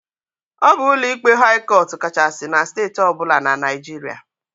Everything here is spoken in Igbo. Ọ bụ ụlọikpe haị cọt kachasị na Steeti ọbụla na Naịjiria.